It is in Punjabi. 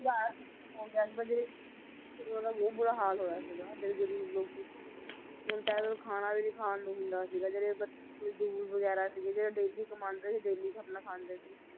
ਓਹਦਾ ਬਹੁਤ ਬੁਰਾ ਹਾਲ ਹੋਇਆ ਸੀਗਾ ਜਿਹੜੇ ਗਰੀਬ ਲੋਕੀ ਸੀ ਇਹਨਾਂ ਨੂੰ ਖਾਣਾ ਵੀ ਨੀ ਖਾਣ ਨੂੰ ਹੁੰਦਾ ਸੀਗਾ ਜਿਹੜੇ ਮਜ~ ਮਜਦੂਰ ਵਗੈਰਾ ਸੀਗੇ, ਜਿਹੜੇ daily ਕਮਾਂਦੇ ਸੀ daily ਆਪਣਾ ਖਾਂਦੇ ਸੀ